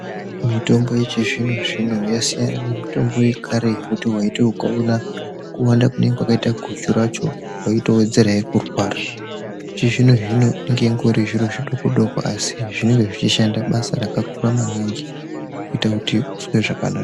Mitombo yechizvino zvino yasiyana nemutombo yekare yekuti waiti ukaona kuwanda kunenge kwakaita guchu racho waitowedzerahe kurwara yechizvinozvino inenge ingori zviro zvidoko doko asi inenge ichishanda maningi.